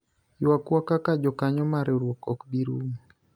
ywagwa kaka jokanyo mar riwruok ok bi rumo